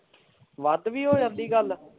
ਵੱਧ ਵੀ ਹੋ ਜਾਂਦੀ ਗੱਲ